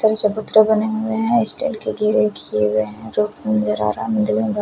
इधर चबूतरे बने हुए हैं स्टील के घेरे किए हुए हैं।